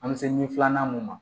An bɛ se ɲɛ filanan mun na